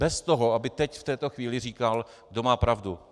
Bez toho, aby teď v tuto chvíli říkal, kdo má pravdu.